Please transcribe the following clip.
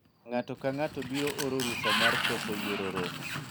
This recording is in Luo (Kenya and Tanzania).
ng'ato ka ng'ato biro oro rusa mar koso yuoro romo